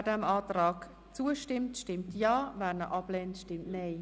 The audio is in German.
Wer dem Antrag zustimmt, stimmt Ja, wer diesen ablehnt, stimmt Nein.